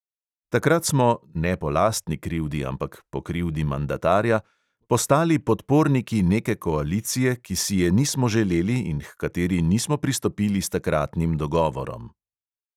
Takrat smo – ne po lastni krivdi, ampak po krivdi mandatarja – postali podporniki neke koalicije, ki si je nismo želeli in h kateri nismo pristopili s takratnim dogovorom.